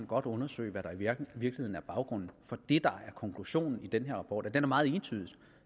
godt undersøge hvad der virkelig er baggrunden for det der er konklusionen i den her rapport og den er meget entydig